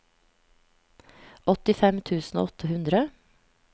åttifem tusen og åtte hundre